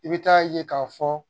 I bɛ taa ye k'a fɔ